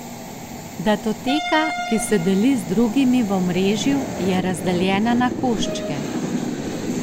Datoteka, ki se deli z drugimi v omrežju, je razdeljena na koščke.